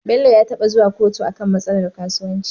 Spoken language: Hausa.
Bello ya taba zuwa kotu akan matsalar kasuwanci